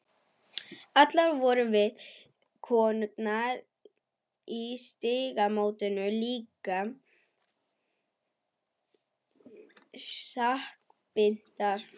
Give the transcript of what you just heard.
Allar vorum við, konurnar í Stígamótum, líka svo sakbitnar.